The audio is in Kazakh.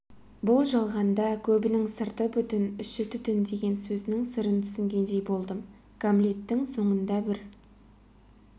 бұл жалғанда көбінің сырты бүтін іші түтін деген сөзінің сырын түсінгендей болдым гамлеттің соңында бір